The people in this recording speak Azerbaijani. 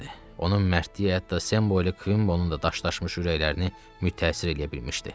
Onun mərdliyi hətta Sembolu, Kvimbobonun da daşlaşmış ürəklərini mütəəssir eləyə bilmişdi.